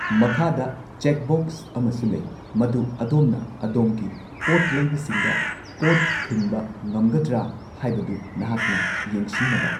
ꯃꯈꯥꯗ ꯆꯦꯛꯕꯣꯛꯁ ꯑꯃꯁꯨ ꯂꯩ, ꯃꯗꯨ ꯑꯗꯣꯝꯅ ꯑꯗꯣꯝꯒꯤ ꯄꯣꯠ ꯂꯩꯕꯁꯤꯡꯗ ꯄꯣꯠ ꯊꯤꯟꯕ ꯉꯝꯒꯗ꯭ꯔ ꯍꯥꯏꯕꯗꯨ ꯅꯍꯥꯛꯅ ꯌꯦꯡꯁꯤꯡꯅꯕ꯫